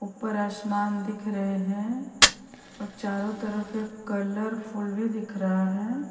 ऊपर असमान दिख रहें हैं और चारों तरफ कलरफुल भीं दिख रहा हैं।